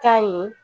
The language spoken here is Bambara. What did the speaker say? Ka ɲi